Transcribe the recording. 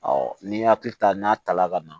n'i y'a hakili ta n'a ta la ka na